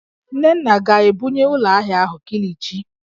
Nnenna ga-ebunye ụlọ ahịa ahụ kilichi?